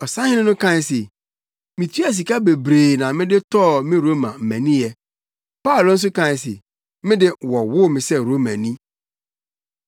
Ɔsahene no kae se, “Mituaa sika bebree na mede tɔɔ me Roma maniyɛ.” Paulo nso kae se, “Me de, wɔwoo me sɛ Romani.”